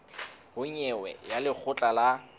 ho nyewe ya lekgotla la